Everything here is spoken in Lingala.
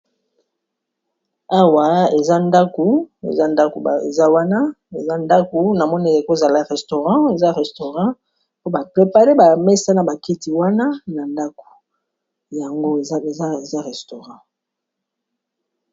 awa eza ndaku eza wana eza ndaku na moni e kozala restaurant eza restaurant mpo ba prepare ba mesa na baketi wana na ndako yango eza restaurant